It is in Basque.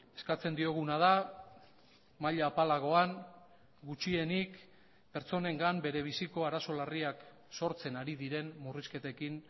eskatzen dioguna da maila apalagoan gutxienik pertsonengan bere biziko arazo larriak sortzen ari diren murrizketekin